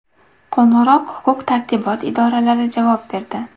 Qo‘ng‘iroq huquq-tartibot idoralari javob berdi.